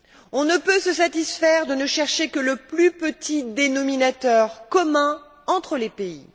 Nous ne pouvons nous satisfaire de ne chercher que le plus petit dénominateur commun entre les pays.